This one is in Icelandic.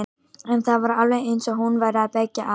En það var alveg eins og hún væri að beygja af.